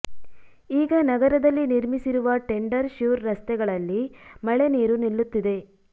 ಈಗ ನಗರದಲ್ಲಿ ನಿರ್ಮಿಸಿರುವ ಟೆಂಡರ್ ಶ್ಯೂರ್ ರಸ್ತೆಗಳಲ್ಲಿ ಮಳೆ ನೀರು ನಿಲ್ಲುತ್ತಿದೆ